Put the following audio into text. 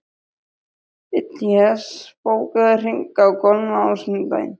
Illíes, bókaðu hring í golf á sunnudaginn.